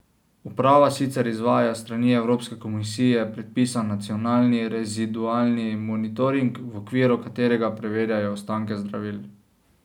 Uprava sicer izvaja s strani Evropske komisije predpisan nacionalni rezidualni monitoring, v okviru katerega preverjajo ostanke zdravil.